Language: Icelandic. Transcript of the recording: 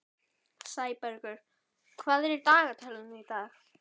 Sæbergur, hvað er í dagatalinu í dag?